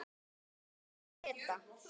Elsku amma Gréta.